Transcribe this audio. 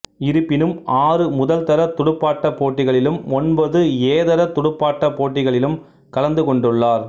இருப்பினும் ஆறு முதல்தர துடுப்பாட்டப் போட்டிகளிலும் ஒன்பது ஏதர துடுப்பாட்டப் போட்டிகளிலும் கலந்து கொண்டுள்ளார்